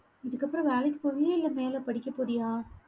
இதுக்கப்புறம் வேலைக்கு போவியா? இல்ல மேல படிக்கப் போறியா?